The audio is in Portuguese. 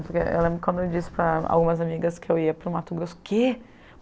Porque eu lembro que quando eu disse para algumas amigas que eu ia para o Mato Grosso, o quê?